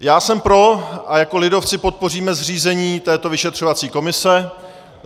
Já jsem pro a jako lidovci podpoříme zřízení této vyšetřovací komise.